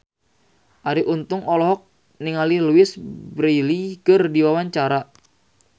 Arie Untung olohok ningali Louise Brealey keur diwawancara